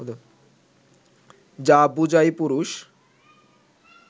যা বোঝায় পুরুষ